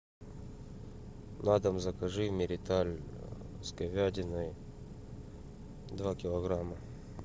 на дом закажи мириталь с говядиной два килограмма